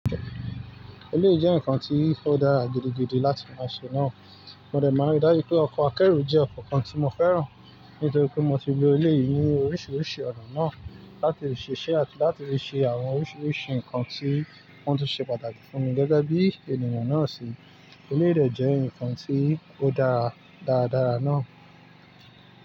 Ilé yii je nkan ti o dáa gidigidi láti máa ṣe náà. Mo dẹ̀ máa ríi dájú pé ọkọ̀ akẹ́ro jẹ́ ọkọ̀ kan tí mo fẹ́ràn. Nítorí pé mo ti lo ilé yìí ní oríṣiríṣi ọ̀nà náà láti ṣiṣẹ́ àti láti ṣe àwọn oríṣiríṣi nkan tí wọ́n tu ṣe pàtàkì fún mi gẹ́gẹ́ bí ènìyàn náà ṣe. Ilé yì de jẹ́ nkan tí ó dára dáradára náà.